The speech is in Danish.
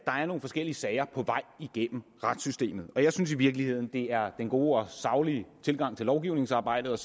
nogle forskellige sager på vej igennem retssystemet og jeg synes i virkeligheden at det er den gode og saglige tilgang til lovgivningsarbejdet